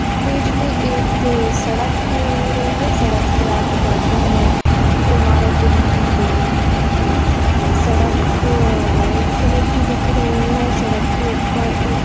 page मे एक सड़क शो हो रही है सडक के आजू-बाजु मे इमारत बनी हुई है बिल्डिग बनी हुई है सडक रेड कलर की दिख रही है सडक के उप्पर एक--